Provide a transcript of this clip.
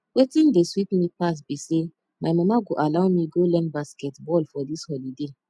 wetin dey sweet me pass be say my mama go allow me go learn basket ball for dis holiday